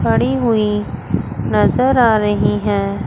खड़ी हुई नजर आ रही हैं।